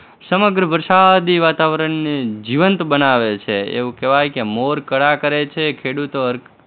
સમગ્ર વરસાદી વાતાવરણને જીવંત બનાવે છે, એવું કહેવાય કે મોર કળા કરે છે, ખેડૂતો હર